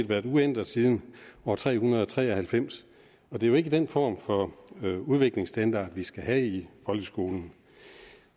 været uændret siden år tre hundrede og tre og halvfems og det er jo ikke den form for udviklingsstandard vi skal have i folkeskolen